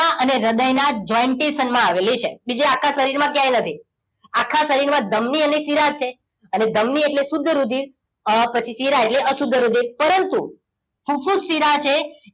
અને હૃદયના jointesun માં આવેલી છે કે જે આખા શરીરમાં ક્યાંય નથી આખા શરીરમાં ધમની અને શિરા છે અને ધમની એટલે શુદ્ધ રુધિર પછી શીરા એટલે અશુદ્ધ રુધિર પરંતુ ફુફુસ શિરા છે